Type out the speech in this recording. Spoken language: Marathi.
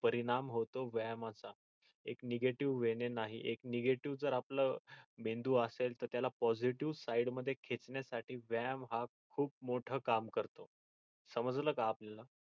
परिणाम होतो व्यायामाचा एक negative way ने नाही एक negative जर आपल मेंदू असेल तर त्याला positive side मध्ये खेचण्या साठी व्यायाम हा खूप मोठ काम करतो समजल का आल्याला?